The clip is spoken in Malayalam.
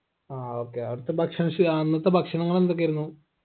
ആ okay അവിടുത്തെ ഭക്ഷണ ശൈ അന്നത്തെ ഭക്ഷണങ്ങൾ എന്തൊക്കെയായിരുന്നു